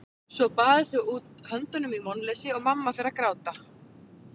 Svo baða þau út höndunum í vonleysi og mamma fer að gráta.